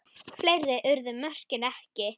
Fleiri urðu mörkin ekki.